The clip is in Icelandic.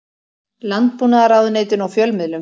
Landbúnaðarráðuneytinu og fjölmiðlum.